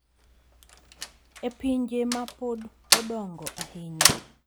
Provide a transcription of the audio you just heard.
E pinje ma pod odongo ahinya,